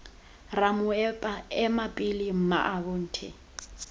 ramoepa ema pele mmaabo nte